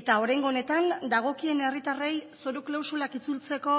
eta oraingo honetan dagokien herritarrei zoru klausulak itzultzeko